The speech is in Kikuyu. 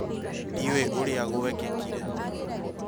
Ndiũĩ ũrĩa gwekĩkire